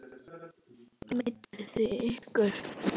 Meidduð þið ykkur?